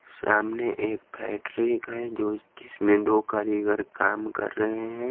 सामने एक फैक्ट्रिक जो जिसमें दो कारीगर काम कर रहे हैं।